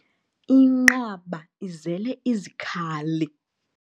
Inqaba izele izikhali.